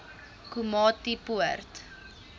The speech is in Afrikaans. komatipoort